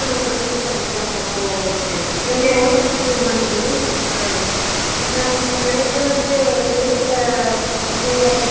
என்னா ரொம்ப வருஷம் ஆயிருக்கும் அந்த மாதிரி இருக்கவாங்க அப்பறோ fail அனவாங்க படிக்கலாம் plus one fail